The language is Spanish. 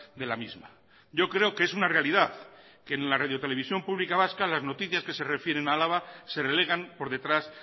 de la misma yo creo que es una realidad que en la radio televisión pública vasca las noticias que se refieren a álava se relegan por detrás